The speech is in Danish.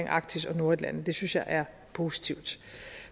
arktis og nordatlanten og det synes jeg er positivt